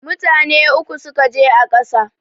Mutane uku ne suka je a ƙasa